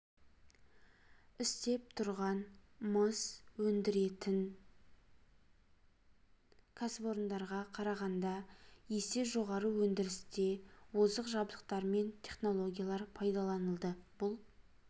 істеп тұрған мыс өндіретін кәсіпорындарға қарағанда есе жоғары өндірісте озық жабдықтар мен технологиялар пайдаланылды бұл